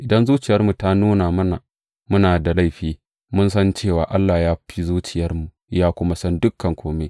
Idan zuciyarmu ta nuna mana muna da laifi, mun san cewa Allah ya fi zuciyarmu, ya kuma san dukan kome.